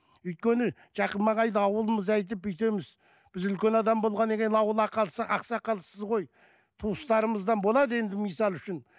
өйткені жақын маңайды ауылымыз әйтіп бүйтеміз біз үлкен адам болғаннан кейін ауыл ақсақалысыз ғой туыстарымыздан болады енді мысалы үшін